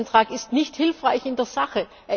Dieser Änderungsantrag ist nicht hilfreich in der